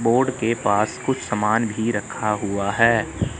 Board के पास कुछ सामान भी रखा हुआ है।